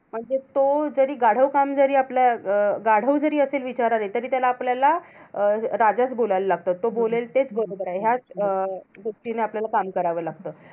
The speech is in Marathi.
म्हणजे तो जरी गाढव काम जरी आपल्या अं गाढव जरी असे विचार आले, तरी त्याला आपल्याला अं राजाचं बोलायला लागतं. तो बोलेल तेच बरोबर आहे, ह्याच अं दृष्टीने आपल्याला काम करावं लागतं.